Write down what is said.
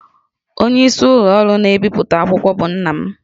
Onyeisi ụlọ ọrụ na-ebipụta akwụkwọ bụ nna m